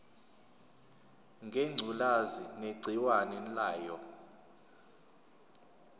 ngengculazi negciwane layo